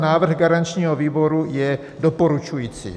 Návrh garančního výboru je doporučující.